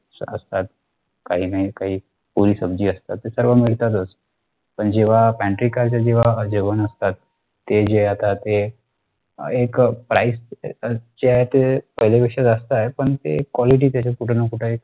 चहा असतात काहीनाकाही पुरी सब्जी असत सर्व मिळतातच पण जेव्हा pantry car च जेव्हा जेवण असत ते जे आता ते एक price च्या ते पहिल्यापेक्षा जास्त आहे पण ती quality तिथे कुठेनाकुठे एक